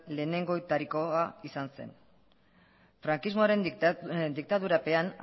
lehenengoetarikoa izan zen frankismoaren diktadurapean